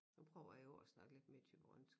Nu prøver jeg jo at snakke lidt mere thyborønsk